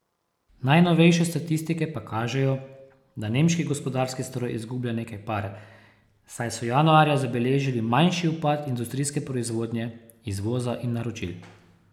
Najnovejše statistike pa kažejo, da nemški gospodarski stroj izgublja nekaj pare, saj so januarja zabeležili manjši upad industrijske proizvodnje, izvoza in naročil.